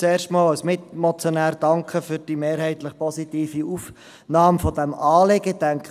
Zuerst, als Mitmotionär: Danke für die mehrheitlich positive Aufnahme dieses Anliegens.